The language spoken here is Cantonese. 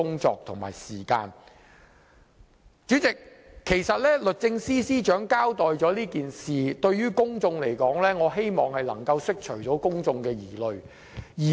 主席，律政司司長其實已就此事作出交代，我希望能夠釋除公眾疑慮。